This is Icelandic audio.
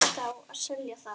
Og hugðust þá selja það.